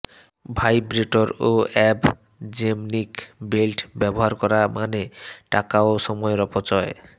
vibrator ও ab gymnic belt ব্যবহার করা মানে টাকা ও সময়ের অপচয়